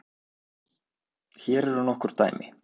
Hér eru nokkur dæmi: